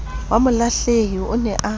wa molahlehi o ne a